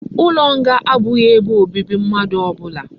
Ulo nga abughi ebe obibi mmadu obula